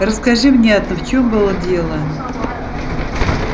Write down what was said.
расскажи внятно в чём было дело